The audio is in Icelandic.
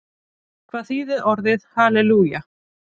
Hvað þýðir orðið halelúja?